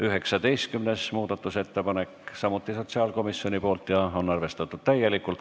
19. muudatusettepanek on samuti sotsiaalkomisjonilt ja on arvestatud täielikult.